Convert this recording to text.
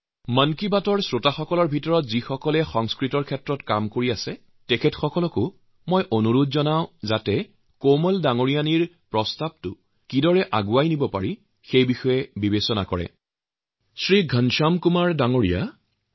মন কী বাতৰ যিসকল শ্ৰোতাই সংস্কৃতকলৈ কাম কৰিছে মই তেওঁলোককো অনুৰোধ জনাওঁ কোমল ঠাক্কৰেৰ এই প্ৰস্তাৱক কেনেদৰে আগুৱাই নিব পৰা যায় সেই বিষয়ে চিন্তাচৰ্চা কৰিব